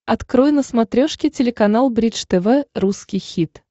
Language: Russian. открой на смотрешке телеканал бридж тв русский хит